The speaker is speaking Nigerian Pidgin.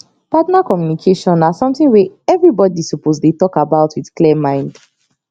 partner communication na something wey everybody suppose dey talk about with clear mind